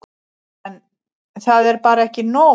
En. það er bara ekki nóg.